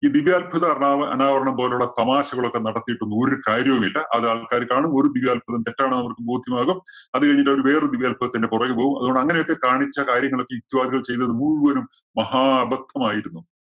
ഈ ദിവ്യാത്ഭുതം അനാ~അനാവരണം പോലുള്ള തമാശകളൊക്കെ നടത്തിയിട്ടൊന്നും ഒരു കാര്യവുമില്ല. അത് ആള്‍ക്കാര് കാണും ഒരു ദിവ്യാത്ഭുതം തെറ്റാണെന്ന് അവര്‍ക്ക് ബോധ്യമാകും. അത് കഴിഞ്ഞിട്ട് അവര് വേറെ ഒരു ദിവ്യാത്ഭുതത്തിന്‍റെ പുറകെ പോവും. അതുകൊണ്ട് അങ്ങനെയൊക്കെ കാണിച്ച കാര്യങ്ങള്‍ ഒക്കെ യുക്തിവാദികൾ ചെയ്ത് മുഴുവനും മഹാ അബദ്ധമായിരുന്നു.